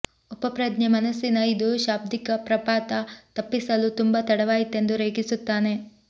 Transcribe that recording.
ಉಪಪ್ರಜ್ಞೆ ಮನಸ್ಸಿನ ಇದು ಶಾಬ್ದಿಕ ಪ್ರಪಾತ ತಪ್ಪಿಸಲು ತುಂಬಾ ತಡವಾಯಿತೆಂದು ರೇಗಿಸುತ್ತಾನೆ